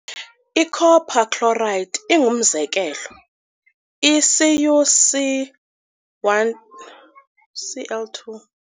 I-Copper chloride ingumzekelo. i-CuC1 CL2